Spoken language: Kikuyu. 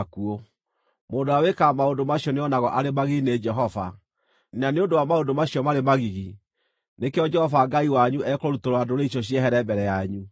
Mũndũ ũrĩa wĩkaga maũndũ macio nĩonagwo arĩ magigi nĩ Jehova, na nĩ ũndũ wa maũndũ macio marĩ magigi, nĩkĩo Jehova Ngai wanyu ekũrutũrũra ndũrĩrĩ icio ciehere mbere yanyu.